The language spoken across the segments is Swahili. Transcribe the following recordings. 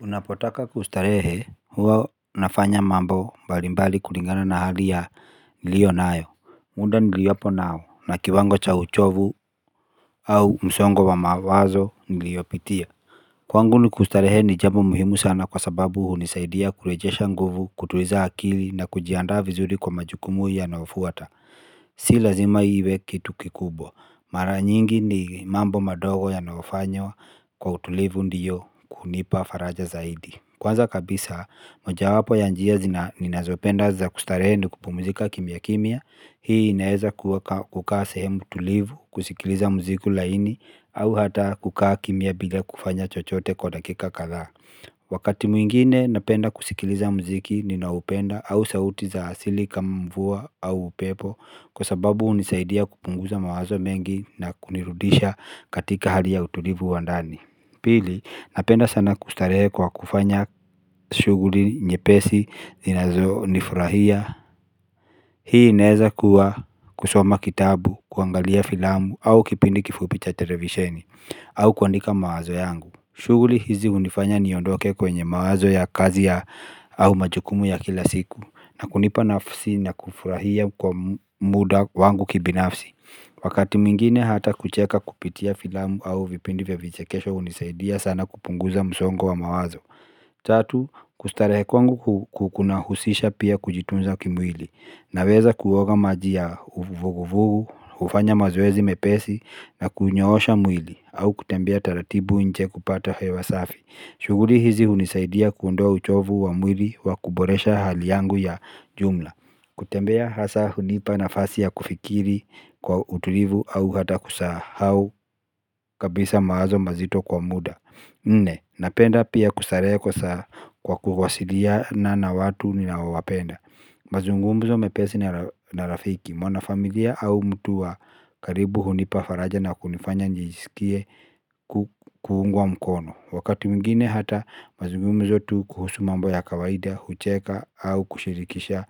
Unapotaka kustarehe huwa unafanya mambo mbalimbali kulingana na hali niliyo nayo. Muda niliopo nao na kiwango cha uchovu au msongo wa mawazo niliyopitia. Kwangu ni kustarehe ni jambo muhimu sana kwa sababu hunisaidia kurejesha nguvu kutuliza akili na kujiandaa vizuri kwa majukumu yanayofuata. Si lazima iwe kitu kikubwa. Mara nyingi ni mambo madogo yanayofanywa kwa utulivu ndio kunipa faraja zaidi. Kwanza kabisa, moja wapo ya njia ninazopenda za kustarehe ni kupumzika kimya kimya, hii inaweza kukaa sehemu tulivu, kusikiliza muziku laini, au hata kukaa kimya bila kufanya chochote kwa dakika kadhaa. Wakati mwingine napenda kusikiliza muziki, ninaopenda au sauti za asili kama mvua au pepo, kwa sababu hunisaidia kupunguza mawazo mengi na kunirudisha katika hali ya utulivu wa ndani. Pili, napenda sana kustarehe kwa kufanya shughuli nyepesi zinazonifurahia. Hii inawezakuwa kusoma kitabu, kuangalia filamu au kipindi kifupi cha televisheni au kuandika mawazo yangu. Shughuli hizi hunifanya niondoke kwenye mawazo ya kazi ya au majukumu ya kila siku na kunipa nafsi na kufurahia kwa muda wangu kibinafsi. Wakati mwingine hata kucheka kupitia filamu au vipindi vya vichekesho hunisaidia sana kupunguza msongo wa mawazo tatu kustarehe kwangu kunahusisha pia kujitunza kimwili. Naweza kuoga maji ya vugu vugu, hufanya mazoezi mepesi na kunyoosha mwili au kutembea taratibu nje kupata hewa safi. Shughuli hizi hunisaidia kuondoa uchovu wa mwili wa kuboresha hali yangu ya jumla. Kutembea hasa hunipa nafasi ya kufikiri kwa utulivu au hata kusahau kabisa mawazo mazito kwa muda. Nne, napenda pia kustarehe kwa kuwasiliana na watu ninaowapenda. Mazungumzo mepesi na rafiki, mwanafamilia au mtu wa karibu hunipa faraja na kunifanya nijisikie kuungwa mkono. Wakati mwingine hata mazungumzo tu kuhusu mambo ya kawaida, hucheka au kushirikisha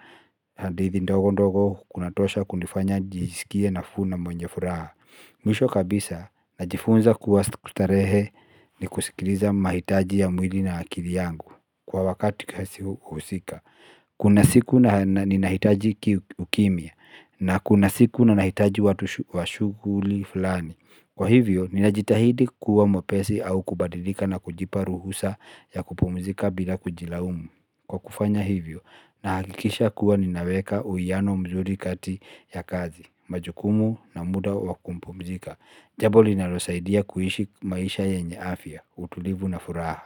hadithi ndogo ndogo kunatosha kunifanya nijisikie nafuu na mwenye furaha. Mwisho kabisa najifunza kuwa starehe ni kusikiliza mahitaji ya mwili na akili yangu kwa wakati husika. Kuna siku ninahitaji ukimya na kuna siku na nahitaji watu wa shughuli fulani. Kwa hivyo, ninajitahidi kuwa mwepesi au kubadilika na kujipa ruhusa ya kupumzika bila kujilaumu. Kwa kufanya hivyo, nahakikisha kuwa ninaweka uwiano mzuri kati ya kazi, majukumu na muda wa kumpumzika. Jambo linalosaidia kuishi maisha yenye afya, utulivu na furaha.